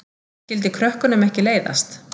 Skyldi krökkunum ekki leiðast?